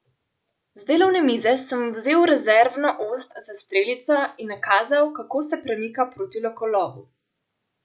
Z delovne mize sem vzel rezervno ost za strelico in nakazal, kako se premika proti lokolovu.